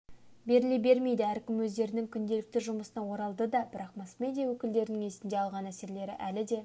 беріле бермейді әркім өздерінің күнделікті жұмысына оралдыды бірақ масс-медиа өкілдерінің есінде алған әсерлері әлі де